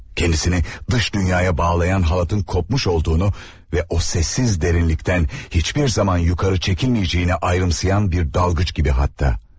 Kəndisini dış dünyaya bağlayan halatın qopmuş olduğunu və o səssiz dərinlikdən heç bir zaman yuxarı çəkilməyəcəyini ayrımsayan bir dalğıc kimi, hətta.